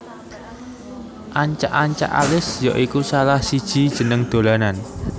Ancak ancak Alis ya iku salah siji jeneng dolanan